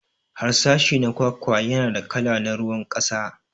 Harsashi na kwakwa yana da kala na ruwan kasa.